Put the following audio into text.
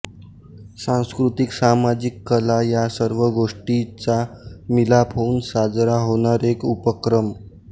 सांस्कृतिक सामजिक कला या सर्व गोष्टि चा मिलाप होऊन साजरा होणार एक उपक्रम